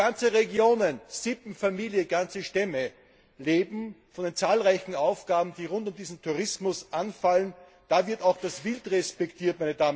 Wo ganze Regionen, Sippen, Familien, ganze Stämme von den zahlreichen Aufgaben, die rund um diesen Tourismus anfallen, leben, da wird auch das Wild respektiert.